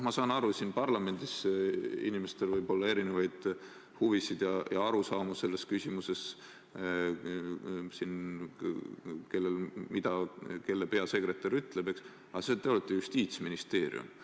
Ma saan aru, et siin parlamendis võib inimestel olla erinevaid huvisid ja arusaamu selles küsimuses – kellele mida kelle peasekretär ütleb –, aga te olete Justiitsministeerium.